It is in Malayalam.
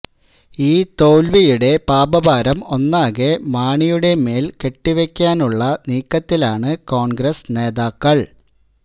ഈ തോല്വിയുടെ പാപഭാരം ഒന്നാകെ മാണിയുടെ മേല്കെട്ടിവെക്കാനുള്ള നീക്കത്തിലാണ് കോണ്ഗ്രസ് നേതാക്കള്